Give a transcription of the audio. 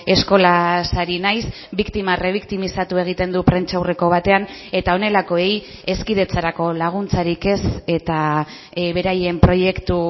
eskolaz ari naiz biktima rebiktimizatu egiten du prentsaurreko batean eta honelakoei hezkidetzarako laguntzarik ez eta beraien proiektu